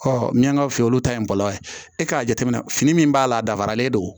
min ka fin olu ta ye bɔlɔlɔ ye e k'a jateminɛ fini min b'a la a dafaralen don